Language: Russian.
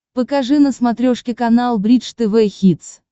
покажи на смотрешке канал бридж тв хитс